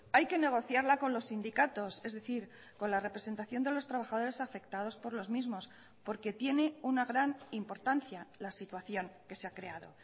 hay que negociarla con los sindicatos es decir con la representación de los trabajadores afectados por los mismos porque tiene una gran importancia la situación que se ha creado